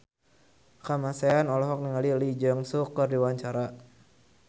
Kamasean olohok ningali Lee Jeong Suk keur diwawancara